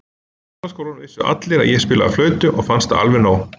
Í gamla skólanum vissu allir að ég spilaði á flautu og fannst það alveg nóg.